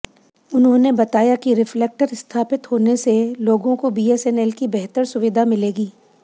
उन्होंने बताया कि रिफ्लेक्टर स्थापित होने से लोगों को बीएसएनएल की बेहतर सुविधा मिलेगी